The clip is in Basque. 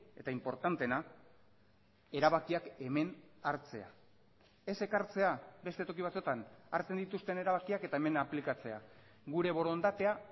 eta inportanteena erabakiak hemen hartzea ez ekartzea beste toki batzuetan hartzen dituzten erabakiak eta hemen aplikatzea gure borondatea